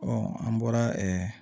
an bɔra